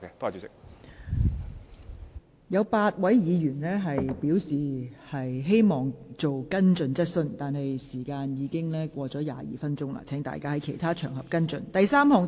尚有8位議員在輪候提問，但由於本會就這項質詢已用了超過22分鐘，請有關議員在其他場合跟進。